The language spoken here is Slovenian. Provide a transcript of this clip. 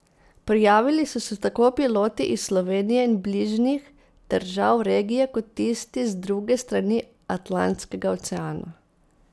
Prijavili so se tako piloti iz Slovenije in bližnjih držav regije kot tisti z druge strani Atlantskega oceana.